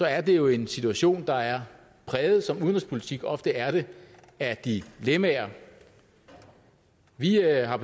er det jo en situation der er præget som udenrigspolitik ofte er det af dilemmaer vi har